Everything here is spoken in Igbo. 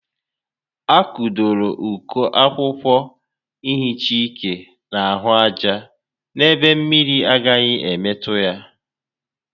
A kụdoro uko akwụkwọ nhicha ike n'ahụ aja n'ebe mmiri agaghi emetụta ya